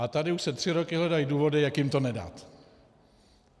A tady už se tři roky hledají důvody, jak jim to nedat.